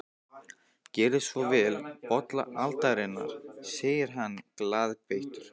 Gerið svo vel, bolla aldarinnar, segir hann glaðbeittur.